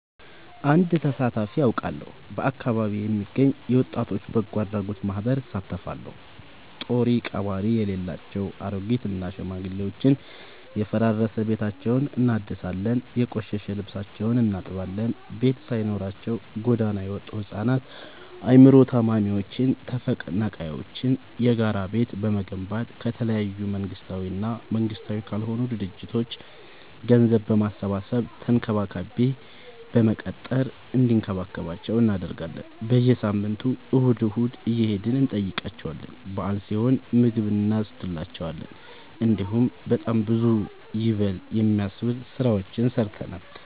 አወድ ተሳትፊ አውቃለሁ። በአካቢዬ የሚገኝ የወጣቶች በጎአድራጎት ማህበር እሳተፋለሁ። ጦሪቀባሪ የሌላቸው አሬጊት እና ሽማግሌዎችን የፈራረሰ ቤታቸውን እናድሳለን፤ የቆሸሸ ልብሳቸውን እናጥባለን፤ ቤት ሳይኖራቸው ጎዳና የወጡቱ ህፃናትን አይምሮ ታማሚዎችን ተፈናቃይዎችን የጋራ ቤት በመገንባት ከተለያዩ መንግስታዊ እና መንግስታዊ ካልሆኑ ድርጅቶች ገንዘብ በማሰባሰብ ተንከባካቢ በመቅጠር እንዲከባከቧቸው እናደርጋለን። በየሳምንቱ እሁድ እሁድ እየሄድን እንጠይቃቸዋለን በአል ሲሆን ምግብ እኖስድላቸዋለን። እንዲሁም በጣም ብዙ ይበል የሚያስብ ስራዎችን ሰርተናል።